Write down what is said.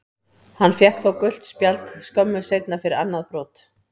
Hann fékk þó gult spjald skömmu seinna fyrir annað brot.